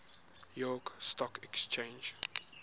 york stock exchange